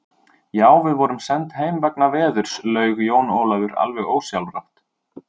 Já, við vorum send heim vegna veðurs, laug Jón Ólafur alveg ósjálfrátt.